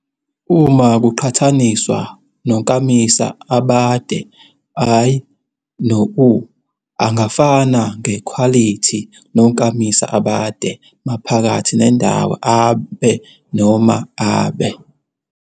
Uma kuqhathaniswa nonkamisa abade i, no u, angafana ngekhwalithi nonkamisa abade, maphakathi nendawo abe noma abe.